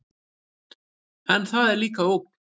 En það er líka ógn.